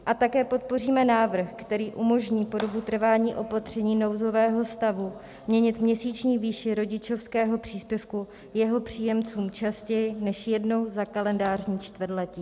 A také podpoříme návrh, který umožní po dobu trvání opatření nouzového stavu měnit měsíční výši rodičovského příspěvku jeho příjemcům častěji než jednou za kalendářní čtvrtletí.